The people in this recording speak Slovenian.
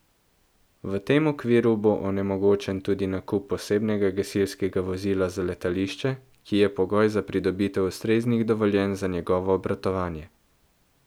V tem okviru bo onemogočen tudi nakup posebnega gasilskega vozila za letališče, ki je pogoj za pridobitev ustreznih dovoljenj za njegovo obratovanje.